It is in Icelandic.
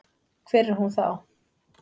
Hver er hún þá?